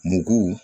Mugu